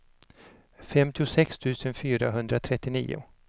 femtiosex tusen fyrahundratrettionio